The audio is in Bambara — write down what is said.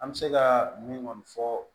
An bɛ se ka min ŋɔni fɔ